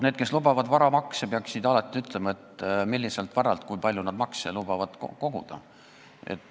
Need, kes lubavad varamakse, peaksid alati ütlema, milliselt varalt ja kui palju nad maksu tahavad koguda.